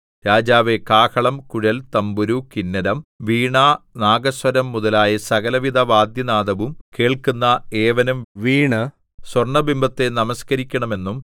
രാജാവേ കാഹളം കുഴൽ തംബുരു കിന്നരം വീണ നാഗസ്വരം മുതലായ സകലവിധ വാദ്യനാദവും കേൾക്കുന്ന ഏവനും വീണ് സ്വർണ്ണബിംബത്തെ നമസ്കരിക്കണമെന്നും